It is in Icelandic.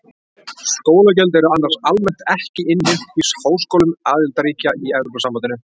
skólagjöld eru annars almennt ekki innheimt í háskólum aðildarríkja í evrópusambandinu